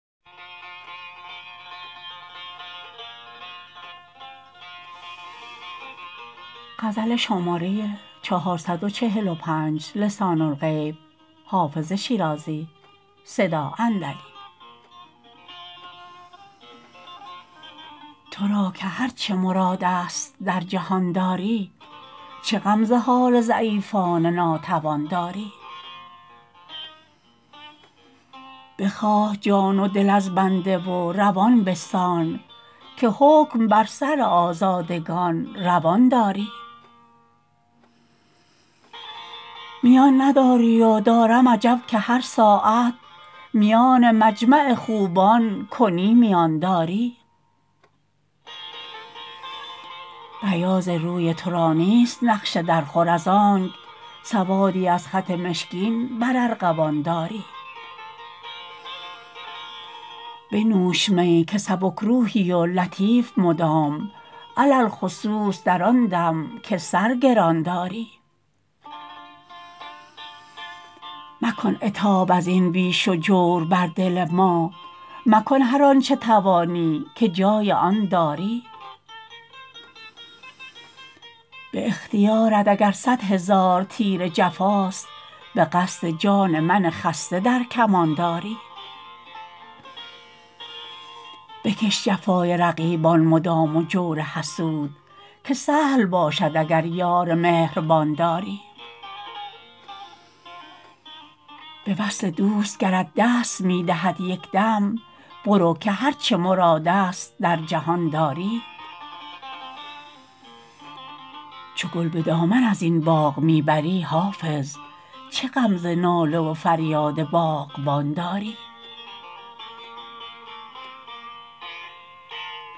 تو را که هر چه مراد است در جهان داری چه غم ز حال ضعیفان ناتوان داری بخواه جان و دل از بنده و روان بستان که حکم بر سر آزادگان روان داری میان نداری و دارم عجب که هر ساعت میان مجمع خوبان کنی میان داری بیاض روی تو را نیست نقش درخور از آنک سوادی از خط مشکین بر ارغوان داری بنوش می که سبک روحی و لطیف مدام علی الخصوص در آن دم که سر گران داری مکن عتاب از این بیش و جور بر دل ما مکن هر آن چه توانی که جای آن داری به اختیارت اگر صد هزار تیر جفاست به قصد جان من خسته در کمان داری بکش جفای رقیبان مدام و جور حسود که سهل باشد اگر یار مهربان داری به وصل دوست گرت دست می دهد یک دم برو که هر چه مراد است در جهان داری چو گل به دامن از این باغ می بری حافظ چه غم ز ناله و فریاد باغبان داری